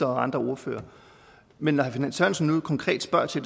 og andre ordførere men når herre finn sørensen nu konkret spørger til